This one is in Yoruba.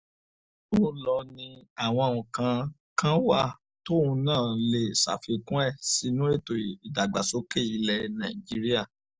ó lọ ni àwọn nǹkan kan wà tóun náà lè ṣàfikún ẹ̀ sínú ètò ìdàgbàsókè ilẹ̀ nàìjíríà